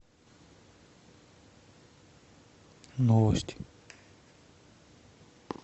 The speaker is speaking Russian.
новости